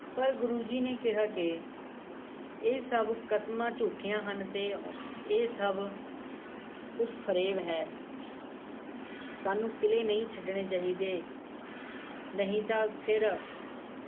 ਪਰ ਗੁਰੂ ਜੀ ਨੇ ਕਿਹਾ ਕੇ ਇਹ ਸਭ ਕਸਮਾਂ ਝੁਟੀਆਂ ਹਨ ਤੇ ਇਹ ਸਭ ਕੁਝ ਫਰੇਬ ਹੈ ਸਾਨੂ ਕਿਲੇ ਨਹੀ ਛੱਡਣੇ ਚਾਹਿਦੇ ਨਹੀ ਤਾੰ ਫੇਰ